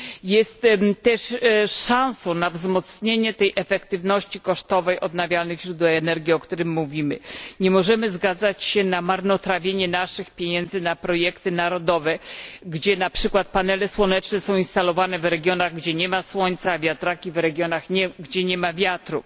jest też szansą na wzmocnienie efektywności kosztowej odnawialnych źródeł energii, o którym mówimy. Nie możemy zgadzać się na marnotrawienie naszych pieniędzy na projekty narodowe, gdzie, na przykład, panele słoneczne są instalowane w regionach, gdzie nie ma słońca, a wiatraki w regionach, gdzie nie ma wiatru.